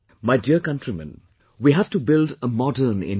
My dear Countrymen, we have to build a modern India